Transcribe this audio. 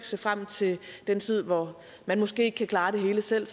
se frem til den tid hvor man måske ikke kan klare det hele selv